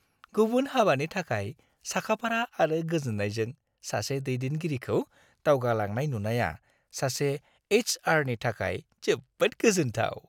गुबुन हाबानि थाखाय साखाफारा आरो गोजोन्नायजों सासे दैदेनगिरिखौ दावगालांनाय नुनाया सासे एइच आरनि थाखाय जोबोद गोजोन्थाव ।